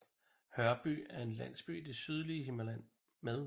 Hørby er en landsby i det sydlige Himmerland med